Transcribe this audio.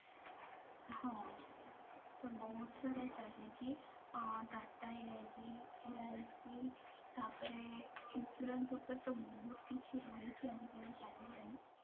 ହଁ ତ ବହୁତ ସାରା ଚାଲିଛି tata LIC ତାପରେ insurance ଉପରେ ତ ବହୁତ କିଛି ରହୁଛି ଆଜି କାଲି ଚାଲିଲାଣି